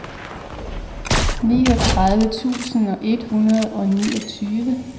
niogtredive tusind et hundrede og niogtyve